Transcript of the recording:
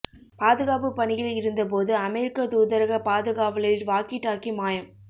பாதுகாப்பு பணியில் இருந்தபோது அமெரிக்க தூதரக பாதுகாவலரின் வாக்கி டாக்கி மாயம்